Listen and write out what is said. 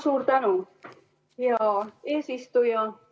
Suur tänu, hea eesistuja!